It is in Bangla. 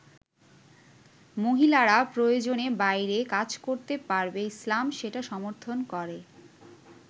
মহিলারা প্রয়োজনে বাইরে কাজ করতে পারবে ইসলাম সেটা সমর্থন করে।